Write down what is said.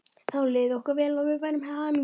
Þá liði okkur vel og við værum hamingjusöm.